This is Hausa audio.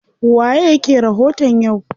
Waye yake rahoton yau?